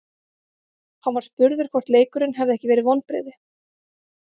Hann var spurður hvort leikurinn hefði ekki verið vonbrigði.